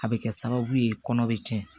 A bɛ kɛ sababu ye kɔnɔ bɛ tiɲɛ